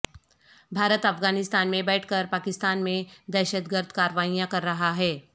بھارت افغانستان میں بیٹھ کرپاکستان میں دہشتگردکاروائیاں کررہا ہے